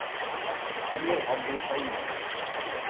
амир абдулхаимов